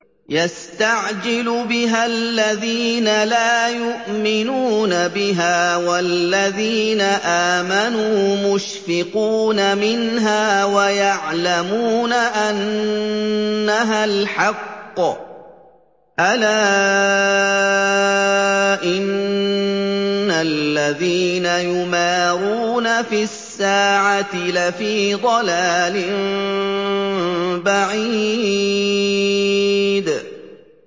يَسْتَعْجِلُ بِهَا الَّذِينَ لَا يُؤْمِنُونَ بِهَا ۖ وَالَّذِينَ آمَنُوا مُشْفِقُونَ مِنْهَا وَيَعْلَمُونَ أَنَّهَا الْحَقُّ ۗ أَلَا إِنَّ الَّذِينَ يُمَارُونَ فِي السَّاعَةِ لَفِي ضَلَالٍ بَعِيدٍ